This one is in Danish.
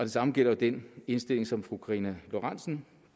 samme gælder den indstilling som fru karina lorentzen